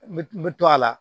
N bɛ n bɛ to a la